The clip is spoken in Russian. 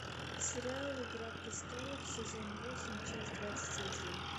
сериал игра престолов сезон восемь часть двадцать один